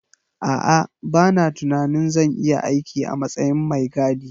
A'a, bana tunanin zan iya aiki a matsayin mai gadi.